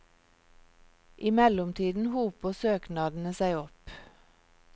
I mellomtiden hoper søknadene seg opp.